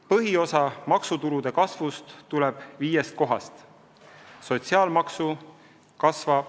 Põhiosa maksutulude kasvust tuleb viiest kohast.